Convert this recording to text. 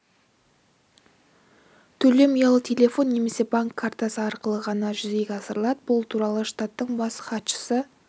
төлем ұялы телефон немесе банк картасы арқылы ғана жүзеге асырылады бұл туралы штаттың бас хатшысы